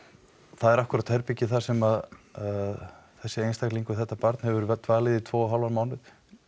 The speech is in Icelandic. það er akkúrat herbergið þar sem að þessi einstaklingur þetta barn hefur dvalið í tvo og hálfan mánuð